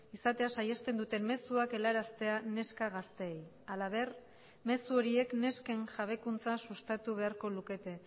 izatea saihesten duten mezuak helaraztea neska gazteei halaber mezu horiek nesken jabekuntza sustatu beharko lukete